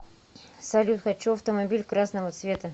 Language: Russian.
салют хочу автомобиль красного цвета